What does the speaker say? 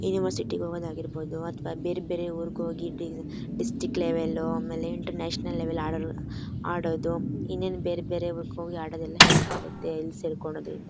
University ಗ್ ಹೋಗಾದ್ ಆಗಿರ್ಬೋದು ಅಥವಾ ಬೇರ್ ಬೇರೆ ಊರಿಗ್ ಹೋಗಿ ಡಿ ಡಿಸ್ಟ್ರಿಕ್ಟ್ ಲೆವೆಲ್ ಆಮೇಲ್ ಇಂಟರ್ ನ್ಯಾಷನಲ್ ಲೆವೆಲ್ ಅಡೋರ್ ಆಡದು ಇನ್ನೇನ್ ಬೇರ್ ಬೇರೆ ಊರಿಗ್ ಹೋಗಿ ಅಡದ್ ಎಲ್ಲ ಹೆಲ್ಪ್ ಆಗತ್ತೆ ಇಲ್ ಸೇರ್ಕೊಳದ್ ಇಂದ.